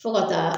Fo ka taa